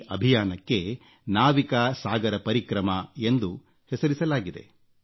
ಈ ಅಭಿಯಾನಕ್ಕೆ ನಾವಿಕಾ ಸಾಗರ ಪರಿಕ್ರಮ ಎಂದು ಹೆಸರಿಸಲಾಗಿದೆ